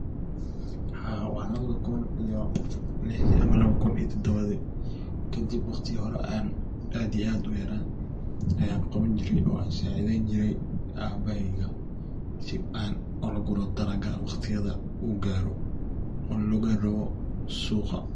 Haa labada kun iyo lixdi ama labada kun iyo todobadi .Kadib ayan aad iyo aad u yara ayan qaban jire oo an sacideyn jire cabaheyga ,si ola guro dalaga waqtiyada u garo oo laqeyn rawo suqa.